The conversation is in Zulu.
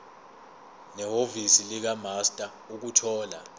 nehhovisi likamaster ukuthola